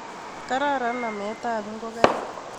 kararan namekab ngokaik